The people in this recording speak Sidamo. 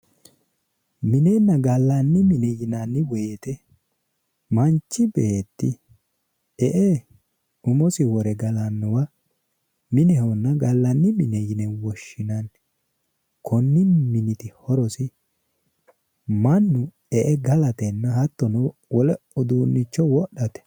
minenna gallanni mine yinanniwoyite manchi beetti e"e umosi wore galaawa minehonna gallanni mine yine woshshinay konni miniti horosi mannu e"e galatenna uduunnicho wodhate.